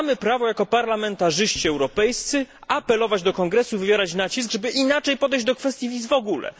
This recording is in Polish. Mamy prawo jako parlamentarzyści europejscy apelować do Kongresu, wywierać nacisk, żeby inaczej podejść do kwestii wiz w ogóle.